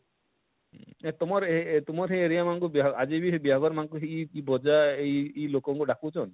ତମର ହେ ତମର ହେ area ମାନକୁ ବିହା ଆଜିବି ହେ ବିହା ଘର ମାନକୁ ହିଁ ଇ ଇ ବଜା ଇ ଇ ଲୋକଙ୍କୁ ଡାକୁଛନ?